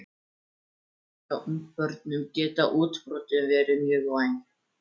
Hjá ungbörnum geta útbrotin verið mjög væg.